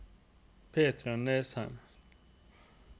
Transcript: Petra Nesheim